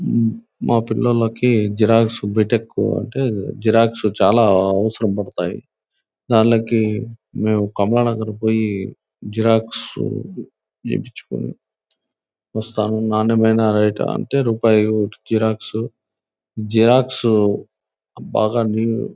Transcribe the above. మ్ మా పిల్లలకి xerox BTech అంటే జెరాక్స్ చాలా అవసరం పడతాయి. దానికి మేము కమ్మనగరం కి పోయి జెరాక్స్ తీపిచ్చుకొని వస్తాను. నాణ్యమైన రేటు అంటే రూపాయి జెరాక్స్ . జెరాక్స్ బాగా నీట్ --